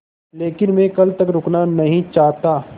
लेकिन मैं कल तक रुकना नहीं चाहता